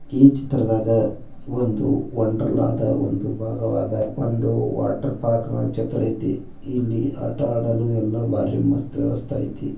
ಈ ಚಿತ್ರದಾಗ ಒಂದು ವಂಡರ್ಲದ ಒಂದು ಬಾಗವಾದ ಒಂದು ವಾಟರ್ ಪರ್ಕ್ ಚಿತ್ರ ಅಯ್ತಿ ಇಲ್ಲಿ ಆಟ ಆಡಲು ಎಲ್ಲ ವ್ಯವಾಸ್ತ ಅಯ್ತಿ.